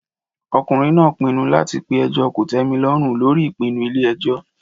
Ọkùnrin náà pinnu láti pe ẹjọ́ kòtẹ́milọ́rùn lórí ìpinnu ilé ẹjọ́.